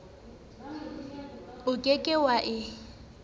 o ke ke wa e